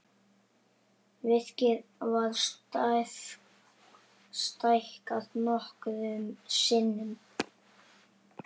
Virkið var stækkað nokkrum sinnum.